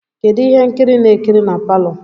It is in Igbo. Kedu ihe nkiri ị na-ekiri na palọ?